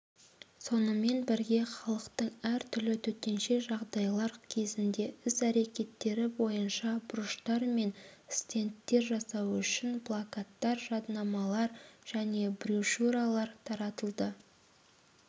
сонымен бірге халықтың әр түрлі төтенше жағдайлар кезінде іс-әрекеттері бойынша бұрыштар мен стендтер жасау үшін плакаттар жадынамалар және брошюралар таратылды